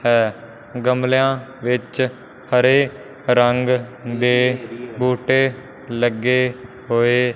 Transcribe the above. ਹੈ ਗਮਲਿਆਂ ਵਿੱਚ ਹਰੇ ਰੰਗ ਦੇ ਬੂਟੇ ਲੱਗੇ ਹੋਏ--